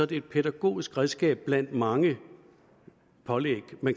det et pædagogisk redskab blandt mange pålæg